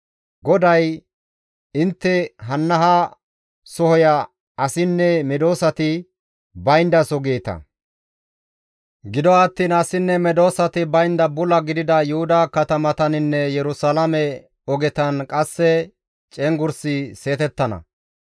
GODAY, «Intte, ‹Hanna ha sohoya asinne medosati bayndaso› geeta; gido attiin asinne medosati baynda bula gidida Yuhuda katamataninne Yerusalaame ogetan qasse cenggurssi seetettana.